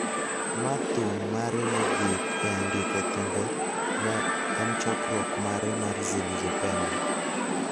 ma thum mare mogik e andike thumbe ne en chokruok mare mar Zilizopendwa �